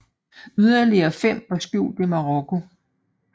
Yderligere fem var skjult i Marokko